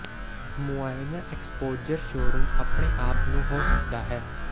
ਮੁਆਇਨਾ exposure showroom ਆਪਣੇ ਆਪ ਨੂੰ ਹੋ ਸਕਦਾ ਹੈ